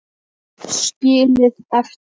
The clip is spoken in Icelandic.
Skilið eftir?